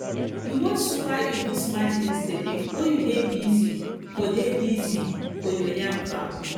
you watch super eagles match yesterday or you dey busy for dey busy for your yam farm